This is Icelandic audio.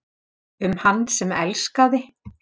Um hann sem elskaði.